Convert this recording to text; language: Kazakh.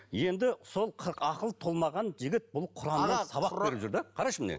енді сол ақылы толмаған жігіт бұл құраннан сабақ беріп жүр де қарашы міне